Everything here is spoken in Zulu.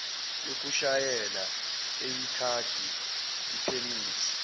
yokushayela eyikhadi iphemithi